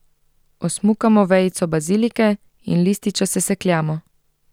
Osmukamo vejico bazilike in lističe sesekljamo.